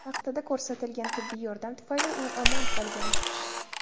Vaqtida ko‘rsatilgan tibbiy yordam tufayli u omon qolgandi.